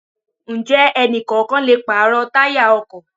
Ǹjẹ́ ẹni kọ̀ọ̀kan lè pàrọ̀ táyà ọkọ̀?